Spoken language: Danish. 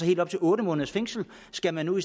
helt op til otte måneders fængsel skal man nu